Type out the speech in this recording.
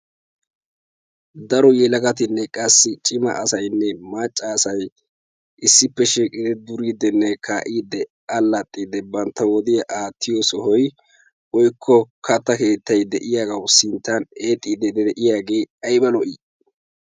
Daro yelagatinne qassi attumassaynne maccasay issippe shiiqidi qassi duridinne kaa'ide allaxxide bantta wodiya aattiyo sohoy woykko katta keettay de'iyaagaw sinttan eexxide de'iyaage aybba lo"i!